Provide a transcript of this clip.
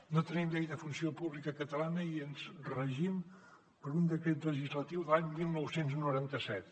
no tenim llei de funció pública catalana i ens regim per un decret legislatiu de l’any dinou noranta set